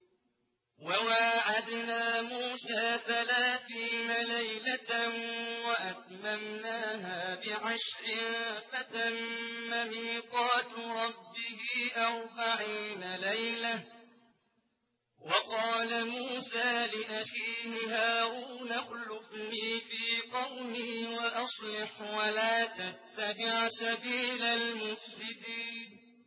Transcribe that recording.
۞ وَوَاعَدْنَا مُوسَىٰ ثَلَاثِينَ لَيْلَةً وَأَتْمَمْنَاهَا بِعَشْرٍ فَتَمَّ مِيقَاتُ رَبِّهِ أَرْبَعِينَ لَيْلَةً ۚ وَقَالَ مُوسَىٰ لِأَخِيهِ هَارُونَ اخْلُفْنِي فِي قَوْمِي وَأَصْلِحْ وَلَا تَتَّبِعْ سَبِيلَ الْمُفْسِدِينَ